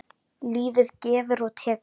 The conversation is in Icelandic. Lífið gefur og tekur.